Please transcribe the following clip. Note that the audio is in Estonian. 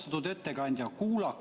Austatud ettekandja!